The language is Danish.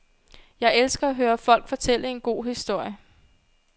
Jeg elsker at høre folk fortælle en god historie.